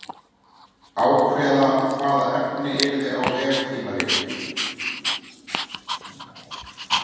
Ákveða hvaða efni yrði á veftímaritinu.